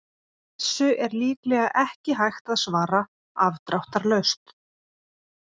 Þessu er líklega ekki hægt að svara afdráttarlaust.